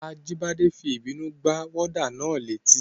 Ajíbọ́lá fi ìbínú gbá wọ́dà náà létí